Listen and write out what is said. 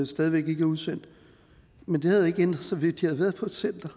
stadig væk ikke er udsendt men det havde ikke ændret sig ved at de havde været på et center